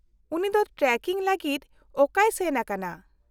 -ᱩᱱᱤ ᱫᱚ ᱴᱨᱮᱠᱤᱝ ᱞᱟᱹᱜᱤᱫ ᱚᱠᱟᱭ ᱥᱮᱱ ᱟᱠᱟᱱᱟ ?